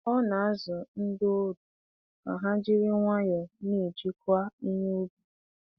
Ọ na-azụ ndị ọrụ ka ha jiri nwayọọ na-ejikwa ihe ubi.